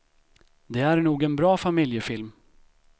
Det är nog en bra familjefilm.